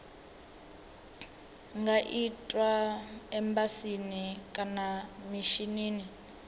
nga itwa embasini kana mishinini